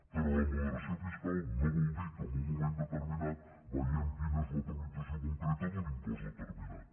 però la moderació fiscal no vol dir que en un moment determinat veiem quina és l’actualització concreta d’un impost determinat